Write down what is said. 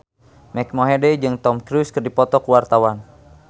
Mike Mohede jeung Tom Cruise keur dipoto ku wartawan